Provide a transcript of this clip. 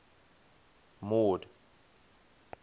mord